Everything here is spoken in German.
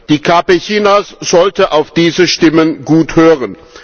Die KP Chinas sollte auf diese Stimmen gut hören.